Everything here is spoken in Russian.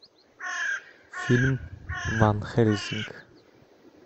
фильм ван хельсинг